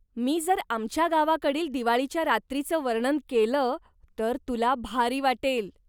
मी जर आमच्या गावाकडील दिवाळीच्या रात्रीचं वर्णन केलं तर तुला भारी वाटेल.